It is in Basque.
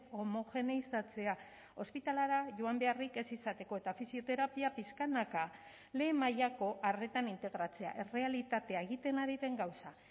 homogeneizatzea ospitalera joan beharrik ez izateko eta fisioterapia pixkanaka lehen mailako arretan integratzea errealitatea egiten ari den gauza